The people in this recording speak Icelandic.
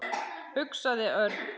hugsaði Örn.